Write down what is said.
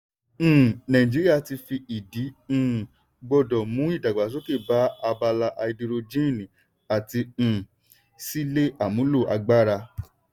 um nàìjíríà ti fi ìdí um gbọ́dọ̀ mú ìdàgbàsókè bá abala háídírójìn àti um ṣíle àmúlo agbára.